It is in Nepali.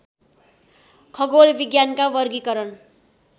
खगोल विज्ञानका वर्गीकरण